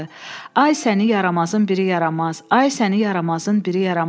Ay səni yaramazın biri yaramaz, ay səni yaramazın biri yaramaz.